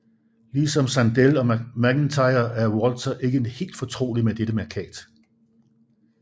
Ligesom Sandel og MacIntyre er Walzer ikke helt fortrolig med dette mærkat